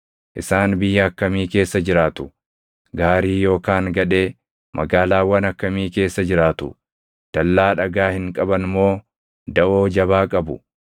Isaan biyya akkamii keessa jiraatu? Gaarii yookaan gadhee? Magaalaawwan akkamii keessa jiraatu? Dallaa dhagaa hin qaban moo daʼoo jabaa qabu?